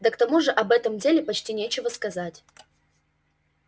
да к тому же об этом деле почти нечего сказать